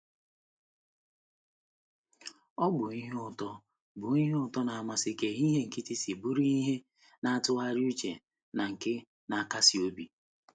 Ọ bụ ihe ụtọ bụ ihe ụtọ na mmasị ka ehihie nkịtị si bụrụ ihe na-atụgharị uche na nke na-akasi obi.